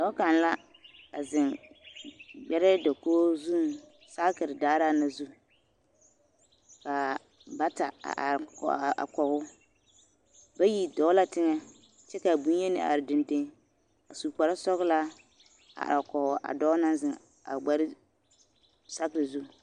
Dɔɔ kaŋ la a zeŋ gbɛrɛɛ dakogi zuŋ saakiri daaraa na zu ka bata a are kɔge o bayi dɔɔ la teŋɛ kyɛ k'a bonyeni a are dendeŋ a su kpare sɔgelaa a are kɔge a dɔɔ naŋ zeŋ a gbɛrɛɛ saakiri zu.